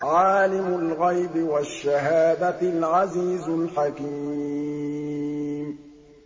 عَالِمُ الْغَيْبِ وَالشَّهَادَةِ الْعَزِيزُ الْحَكِيمُ